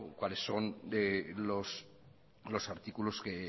cuáles son los artículos que